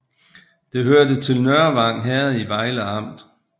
Det hørte til Nørvang Herred i Vejle Amt